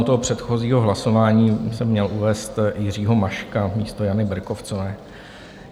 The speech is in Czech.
U toho předchozího hlasování jsem měl uvést Jiřího Maška místo Jany Berkovcové.